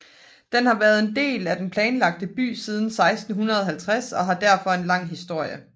Den har været en del af den planlagte by siden 1650 og har derfor en lang historie